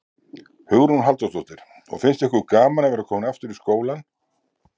Hugrún Halldórsdóttir: Og finnst ykkur gaman að vera komin aftur í skólann?